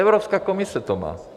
Evropská komise to má.